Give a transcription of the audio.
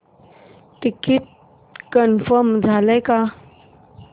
ticket confirm झाले का